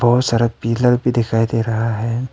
और सारा पिलर भी दिखाई दे रहा है।